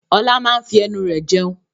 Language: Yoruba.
Ọlá máa n fi ẹnu rẹ jẹun